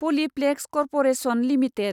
Polyplex corporation limited